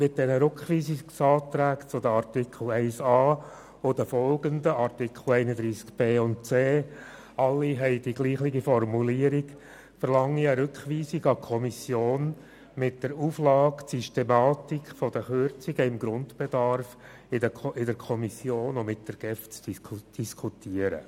Mit den Rückweisungsanträgen zu den Artikeln 31a sowie den nachfolgenden Artikeln 31b und 31c – alle enthalten die gleiche Formulierung – verlange ich eine Rückweisung an die Kommission mit der Auflage, die Systematik der Kürzungen beim Grundbedarf sei in der Kommission und mit der GEF zu diskutieren.